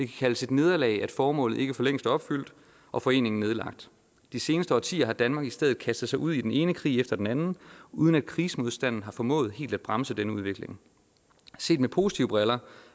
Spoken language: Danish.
kaldes et nederlag at formålet ikke for længst er opfyldt og foreningen nedlagt de seneste årtier har danmark i stedet kastet sig ud i den ene krig efter den anden uden at krigsmodstanden har formået helt at bremse denne udvikling set med positive briller